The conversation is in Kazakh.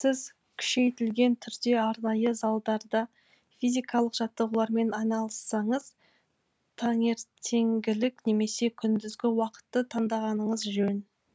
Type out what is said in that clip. сіз күшейтілген түрде арнайы залдарда физикалық жаттығулармен айналыссаңыз таңертеңгілік немесе күндізгі уақытты таңдағаныңыз жөн